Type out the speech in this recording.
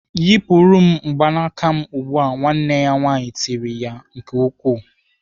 "Yịpụtara m mgbanaka m ugbu a!" Nwanne ya nwaanyị tiri nke ukwuu.